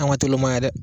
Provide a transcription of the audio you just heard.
An ka teli olu ma ye dɛ